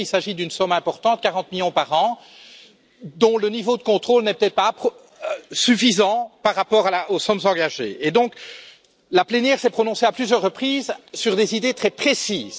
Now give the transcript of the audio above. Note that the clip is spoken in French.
En effet, il s'agit d'une somme importante, 40 millions d'euros par an, dont le niveau de contrôle n'était pas suffisant par rapport aux sommes engagées, et donc la plénière s'est prononcée à plusieurs reprises sur des idées très précises.